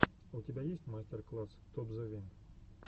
у тебя есть мастер класс топзевин